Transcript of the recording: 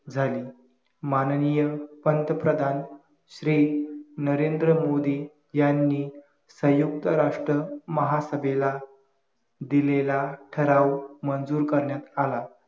झाली माननीय पंतप्रधान श्री नरेंद्र मोदी यांनी संयुक्त राष्ट्र महासभेला दिलेला ठराव मंजुर करण्यात आला